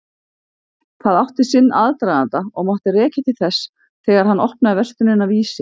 Það átti sinn aðdraganda og mátti rekja til þess þegar hann opnaði verslunina Vísi.